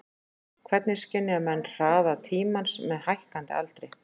Hvernig skynja menn hraða tímans með hækkandi aldri?